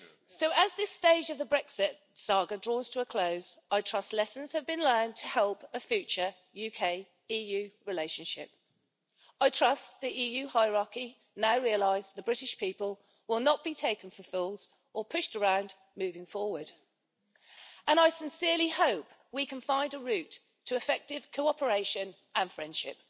So as this stage of the Brexit saga draws to a close, I trust that lessons have been learned to help a future UK EU relationship. I trust that the EU hierarchy now realises the British people will not be taken for fools or pushed around moving forward. I sincerely hope we can find a route to effective cooperation and friendship.